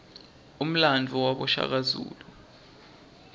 umlandvo wabashaka